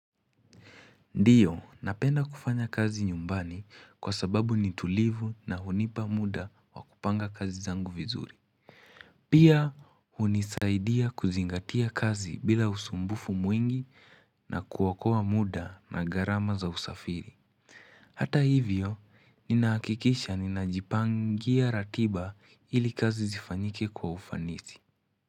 Ndiyo, napenda kufanya kazi nyumbani kwa sababu ni tulivu na hunipa muda wa kupanga kazi zangu vizuri. Pia, hunisaidia kuzingatia kazi bila usumbufu mwingi na kuokoa muda na gharama za usafiri. Hata hivyo, nina hakikisha ninajipangia ratiba ili kazi zifanyike kwa ufanisi.